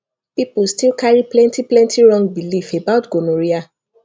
people still carry plenty plenty wrong belief about gonorrhea